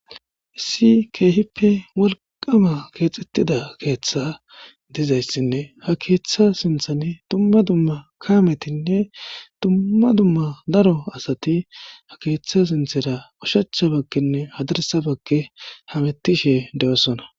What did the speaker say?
issi keehippe walqama keexettida keeththa dizayssinne ha keeththa sinthani tumma dumma kaametinne tumma dumma daro asati ha keeththa sinthera ushacha bakkinne hadirsa bakke hamettishe de7osona.